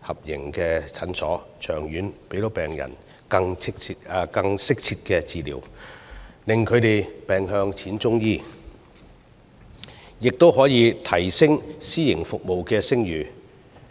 合營診所，長遠令病人得到更適切的治療，令他們"病向淺中醫"，亦可以提升私營服務的聲譽。